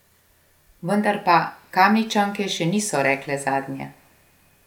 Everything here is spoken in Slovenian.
Vendar pa Kamničanke še niso rekle zadnje.